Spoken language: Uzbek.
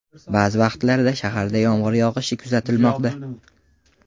Ba’zi vaqtlarda shaharda yomg‘ir yog‘ishi kuzatilmoqda.